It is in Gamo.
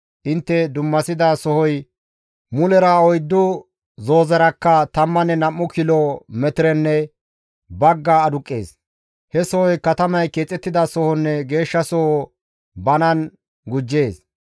Intte dummasida sohoy mulera oyddu zoozerakka tammanne nam7u kilo metirenne bagga aduqqees. He sohoy katamay keexettida sohonne geeshshasoho banan gujjees.